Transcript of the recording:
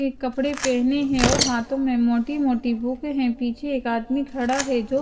ने कपड़े पहने हैं और हाथों में मोटी मोटी बुक हैं पीछे एक आदमी खड़ा है जो--